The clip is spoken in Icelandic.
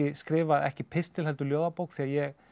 skrifað ekki pistil heldur ljóðabók því ég